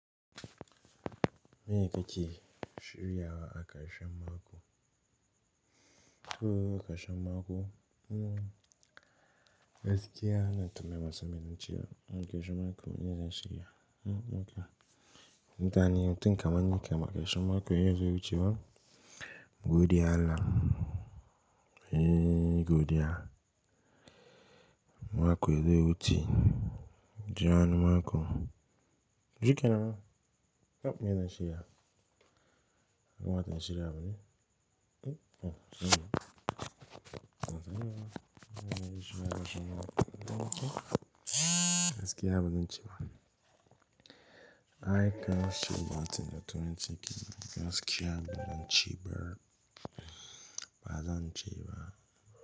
Meye kake shiryawa akarshan mako. Ko aka sha mako, mmm, gaskiya na ta mai wasa mai naciwa. Aka sha mako me ya dace shi ya. Mmm, okay. Da ni, tun kamar yanka maka sha mako ya zo wucewa. Godewa Allah. Eee, godiya. Mako ya zo yawuce. Jan mako shikenan. Oh, me ya shi ya. Oh, me ya shi ya. Wa ta yi shirya bane? Gaskiya bazanci ba i can't say gaskiya bazan ce ba bazance ba.